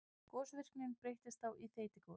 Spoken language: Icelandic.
Gosvirknin breytist þá í þeytigos.